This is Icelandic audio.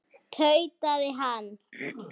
tautaði hann.